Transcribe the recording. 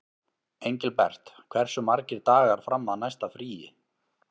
Engilbert, hversu margir dagar fram að næsta fríi?